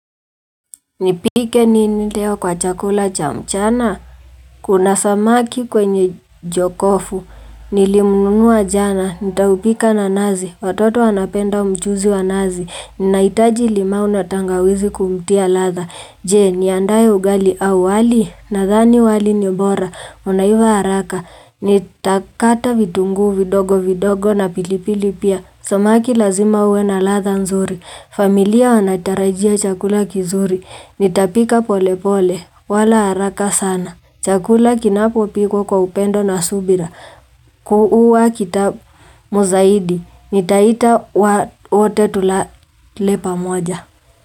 Nipike nini leo kwa chakula cha mchana kuna samaki kwenye jokofu nilimnunua jana nitaupika na nazi watoto wanapenda mchuzi wa nazi nahitaji limau na tangawizi kumtia ladha jee niandae ugali au wali nadhani wali ni bora unaiva haraka nitakata vitunguu vidogo vidogo na pilipili pia samaki lazima uwe na ladha nzuri familia wanatarajia chakula kizuri Nitapika pole pole, wala haraka sana. Chakula kinapo pikwa kwa upendo na subira. Huwa kitamu zaidi. Nitaita wote tulale pamoja.